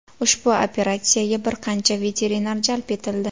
Ushbu operatsiyaga bir qancha veterinar jalb etildi.